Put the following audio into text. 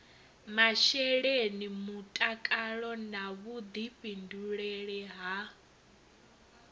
masheleni mutakalo na vhuḓifhinduleli ha